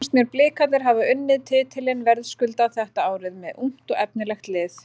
Svo fannst mér Blikarnir hafa unnið titilinn verðskuldað þetta árið með ungt og efnilegt lið.